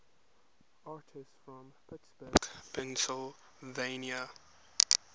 artists from pittsburgh pennsylvania